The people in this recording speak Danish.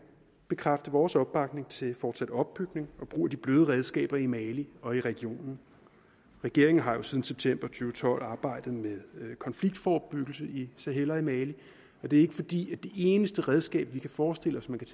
bekræfte vores opbakning til fortsat opbygning og brug af de bløde redskaber i mali og i regionen regeringen har jo siden september to tusind og tolv arbejdet med konfliktforebyggelse i sahel og i mali og det er ikke fordi det eneste redskab vi kan forestille os man kan